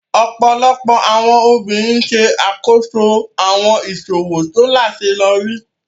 Ọpọlọpọ awọn obirin ṣe akoso awọn iṣowo to laṣeyọri.